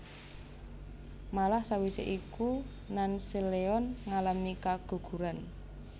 Malah sawise iku Nanseolheon ngalami keguguran